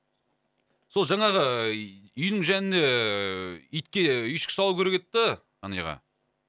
сол жаңағы үйдің жанына ііі итке үйшік салу керек еді да ғани аға